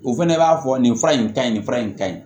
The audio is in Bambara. O fɛnɛ b'a fɔ nin fura in ka ɲi nin fura in ka ɲi